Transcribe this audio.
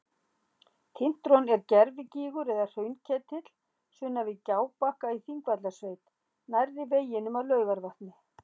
Tintron er gervigígur eða hraunketill sunnan við Gjábakka í Þingvallasveit nærri veginum að Laugarvatni.